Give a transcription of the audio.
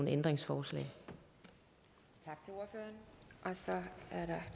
ændringsforslag og så